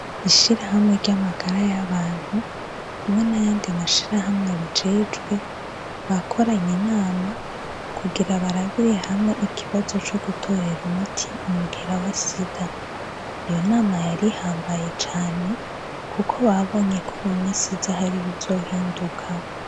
Ishirahamwe ry'amagara y'abantu hamwe n'ayandi mashirahamwe abijejwe bakoranye inama kugira barabire hamwe ikibazo co gutorera umuti umugera wa sida. Iyo nama yari ihambaye cane kuko babonye ko mu misi iza hari ibizohinduka.